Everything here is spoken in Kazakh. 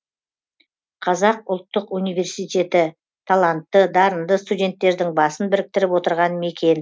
қазақ ұлттық университеті талантты дарынды студенттердің басын біріктіріп отырған мекен